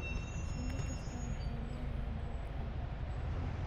Shinni kasta waxay leedahay doorkeeda.